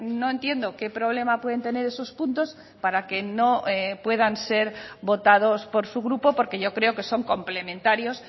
no entiendo qué problema pueden tener esos puntos para que no puedan ser votados por su grupo porque yo creo que son complementarios